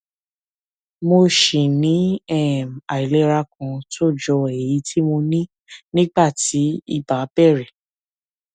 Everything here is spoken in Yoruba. mo ṣì ní um àìlera kan tó jọ èyí tí mo ní nígbà tí ibà bẹrẹ